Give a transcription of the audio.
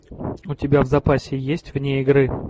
у тебя в запасе есть вне игры